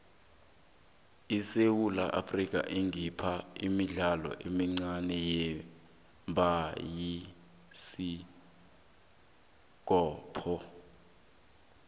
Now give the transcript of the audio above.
isewula afrika ikhipha imidlalo emincane yebhayisikopo